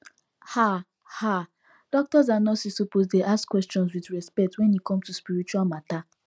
ah ah doctors and nurses suppose dey ask questions with respect wen e come to spiritual matter